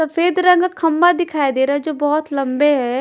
सफेद रंग खंभा दिखाई दे रहा है जो बहुत लंबे है।